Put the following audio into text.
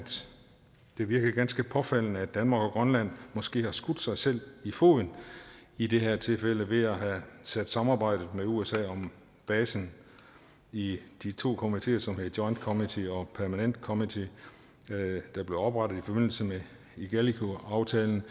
det virker ganske påfaldende at danmark og grønland måske har skudt sig selv i foden i det her tilfælde ved at have sat samarbejdet med usa om basen i de to komiteer som hedder joint committee og permanent committee der blev oprettet i forbindelse med igalikuaftalen